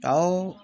Awɔ